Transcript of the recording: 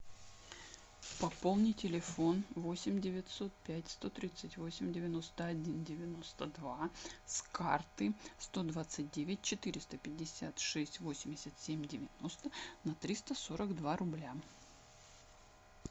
пополни телефон восемь девятьсот пять сто тридцать восемь девяносто один девяносто два с карты сто двадцать девять четыреста пятьдесят шесть восемьдесят семь девяносто на триста сорок два рубля